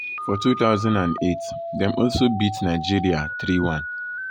for 2008 dem also beat nigeria 3-1.